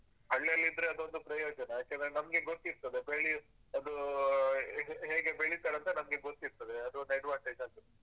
ಹಳ್ಳಿಯಲ್ಲಿದ್ರೆ ಅದೊಂದು ಪ್ರಯೋಜನ ಯಾಕಂದ್ರೆ ನಮ್ಗೆ ಗೊತ್ತಿರ್ತದೆ ಬೆಳಿಯುದ್ ಅದೂ ಹೇಗೆ ಹೇಗೆ ಬೆಳಿತರಂತ ನಮ್ಗೆ ಗೊತ್ತಿರ್ತದೆ ಅದೊಂದ್ advantage.